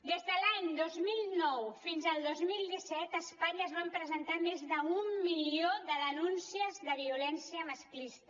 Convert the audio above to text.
des de l’any dos mil nou fins al dos mil disset a espanya es van presentar més d’un milió de denúncies de violència masclista